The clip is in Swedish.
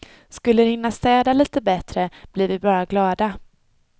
Skulle de hinna städa lite bättre, blir vi bara glada.